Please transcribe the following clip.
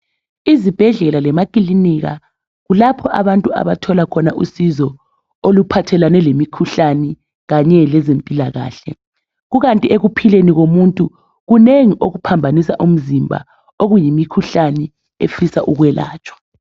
izibhedlela lemakilinika kulapho abantu abathola khona usizo oluphathelane lemikhuhlane kanye lezempilakahle kukanti ekuphileni komuntu kunengi okuphambanisa umzimba okuyimikhuhlane efisa ukwelatshwa